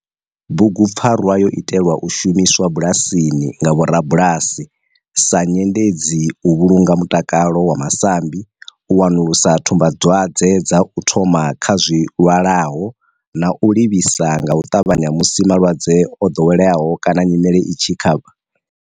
Bugupfarwa yo itelwa u shumiswa bulasini nga vhorabulasi sa nyendedzi u vhulunga mutakalo wa masambi, u wanulusa tsumbadwadzwe dza u thoma kha zwilwalaho na u livhisa nga u ṱavhanya musi malwadze o ḓoweleaho kana nyimele i tshi kha.